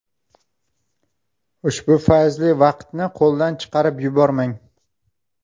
Ushbu fayzli vaqtni qo‘ldan chiqarib yubormang!